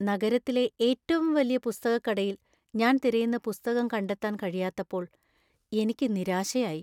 നഗരത്തിലെ ഏറ്റവും വലിയ പുസ്തകക്കടയില്‍ ഞാൻ തിരയുന്ന പുസ്തകം കണ്ടെത്താൻ കഴിയാത്തപ്പോൾ എനിക്ക് നിരാശയായി .